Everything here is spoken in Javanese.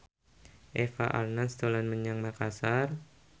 Eva Arnaz dolan menyang Makasar